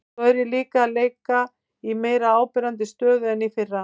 Svo er ég líka að leika í meira áberandi stöðu en í fyrra.